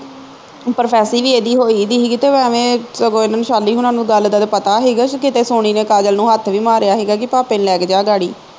ਵੀ ਇਹਦੀ ਹੋਈ ਦੀਗੀ ਤੇ ਐਵੇਂ ਸਗੋਂ ਸ਼ੈਲੀ ਹੋਣਾ ਨੂੰ ਗੱਲ ਦਾ ਤੇ ਪਤਾ ਹੀਗਾ ਕਿਤੇ ਸੋਣੀ ਨੇ ਕਾਜਲ ਨੂੰ ਹੱਥ ਵੀ ਮਾਰਿਆ ਹੀਗਾ ਕਿ ਭਾਪੇ ਨੂੰ ਲੈ ਕੇ ਜਾ ਗਾੜੀ